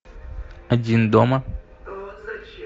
один дома